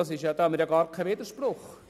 Dabei haben wir gar keinen Widerspruch.